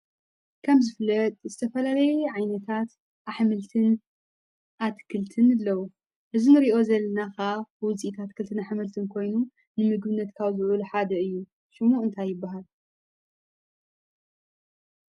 ከም ዝፍለጥ ዝተፈላለዩ ዓይነታት ኣሕምልትን ኣትክልትን ኣለው ።እዚ እንሪኦ ዘለና ከዓ ውፅኢት ኣትክልትን ኣሕምልትን ኮይኑ ንምግብነት ካብ ዝውዕሉ ሓደ እዩ። ሽሙ ከ እንታይ ይበሃል ?